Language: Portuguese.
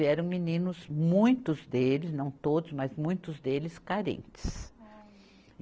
E eram meninos, muitos deles, não todos, mas muitos deles, carentes. Olha. e